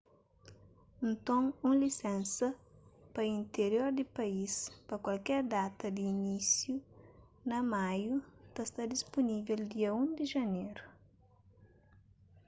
nton un lisénsa pa intirior di país pa kualker data di inísiu na maiu ta sta dispunível dia 1 di janeru